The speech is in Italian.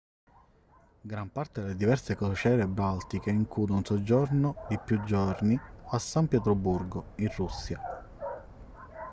gran parte delle diverse crociere baltiche include un soggiorno di più giorni a san pietroburgo in russia